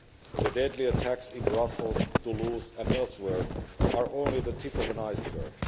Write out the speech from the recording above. The deadly attacks in Brussels, Toulouse and elsewhere are only the tip of an iceberg.